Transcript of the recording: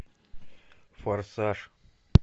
форсаж